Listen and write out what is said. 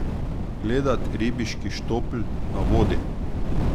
Gledat ribiški štopl na vodi.